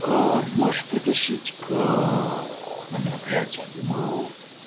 ээ можешь притащить к на мероприятие я думаю